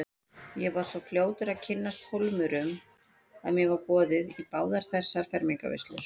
Ég var svo fljótur að kynnast Hólmurum að mér var boðið í báðar þessar fermingarveislur.